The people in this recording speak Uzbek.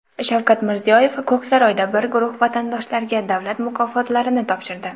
Shavkat Mirziyoyev Ko‘ksaroyda bir guruh vatandoshlarga davlat mukofotlarini topshirdi.